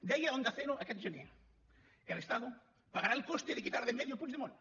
deia a onda cero aquest gener el estado pagará el coste de quitar de en medio a puigdemont